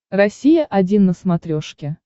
россия один на смотрешке